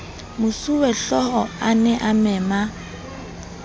mosuwehlooho a ne a mema